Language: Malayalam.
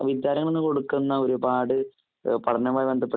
വിദ്യാലയങ്ങളില്‍ കൊടുക്കുന്ന ഒരുപാട് പഠനവുമായി ബന്ധപ്പെട്ടി